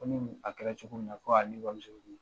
Ko ni ni a kɛra cogo min na k'ale bamuso bi